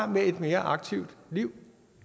med et mere aktivt liv